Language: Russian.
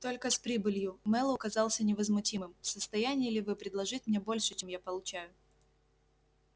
только с прибылью мэллоу казался невозмутимым в состоянии ли вы предложить мне больше чем я получаю